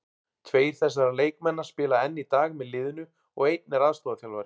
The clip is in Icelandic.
Tveir þessara leikmanna spila enn í dag með liðinu og einn er aðstoðarþjálfari.